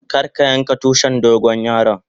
Kar ka yanka Tushin dogon yaron.